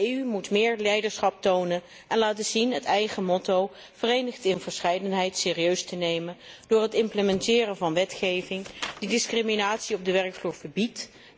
De EU moet meer leiderschap tonen en laten zien het eigen motto Verenigd in verscheidenheid serieus te nemen door het implementeren van wetgeving die discriminatie op de werkvloer verbiedt.